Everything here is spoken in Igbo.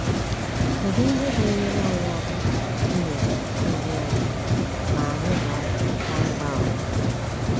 Kedụ ihe ga enyere anyị aka inyocha obi anyị ma anyị daa na ịgwa ụgha.